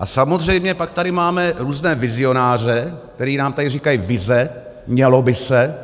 A samozřejmě pak tady máme různé vizionáře, kteří nám tady říkají vize, mělo by se,